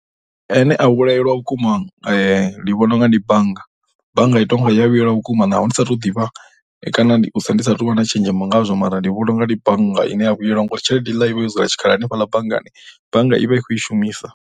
Ane a vhuyelwa vhukuma ndi vhona u nga ndi bannga, bannga i tou nga i ya vhuyelwa vhukuma naho ndi sa tou ḓivha kana ndi saathu u vha na tshenzhemo nagzwo mara ndi vhona u nga ndi bannga ya vhuyelwa ngauri tshelede i vha yo dzula tshikhala hanefhaḽa banngani. Bannga i vha i khou i shumisa.